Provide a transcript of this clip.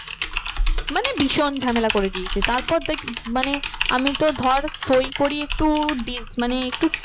মানে ভীষণ ঝামেলা করে দিয়েছে তারপর মানে আমি তো ধর সই করি একটু মানে একটু